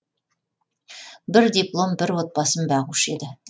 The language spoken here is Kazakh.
бір диплом бір отбасын бағушы еді